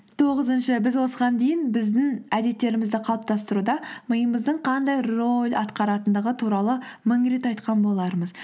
тоғызыншы біз осыған дейін біздің әдеттерімізді қалыптастыруда миымыздың қандай роль атқаратындығы туралы мың рет айтқан болармыз